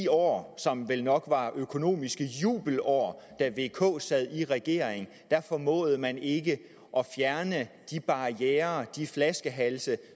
år som vel nok var økonomiske jubelår da vk sad i regering formåede man ikke at fjerne de barrierer de flaskehalse